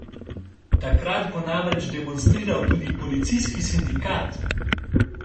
Takrat bo namreč demonstriral tudi policijski sindikat.